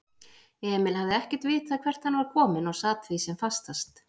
Emil hafði ekkert vitað hvert hann var kominn og sat því sem fastast.